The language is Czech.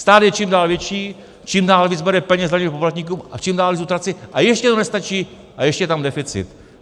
Stát je čím dál větší, čím dál víc bere peněz daňovým poplatníkům a čím dál víc utrácí, a ještě to nestačí, a ještě je tam deficit.